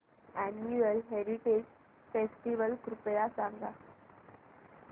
annual heritage festival कृपया सांगा